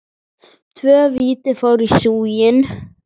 Tvö víti fóru í súginn.